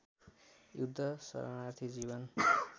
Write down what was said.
युद्ध शरणार्थी जीवन